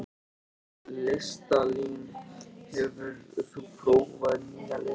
Listalín, hefur þú prófað nýja leikinn?